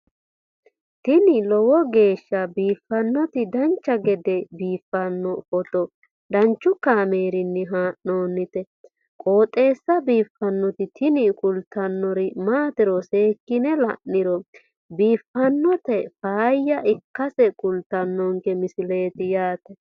tini lowo geeshsha biiffannoti dancha gede biiffanno footo danchu kaameerinni haa'noonniti qooxeessa biiffannoti tini kultannori maatiro seekkine la'niro biiffannota faayya ikkase kultannoke misileeti yaate